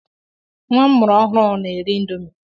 Nwa m muru ọhụụ na-eri índomi